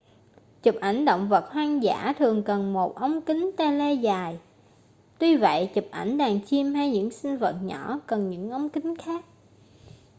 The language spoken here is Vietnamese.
chụp ảnh động vật hoang dã thường cần một ống kính tele dài tuy vậy chụp ảnh đàn chim hay những sinh vật nhỏ cần những ống kính khác